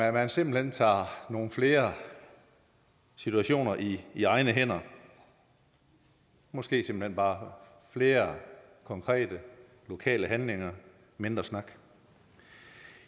at man simpelt hen tager nogle flere situationer i i egne hænder måske simpelt hen bare flere konkrete lokale handlinger og mindre snak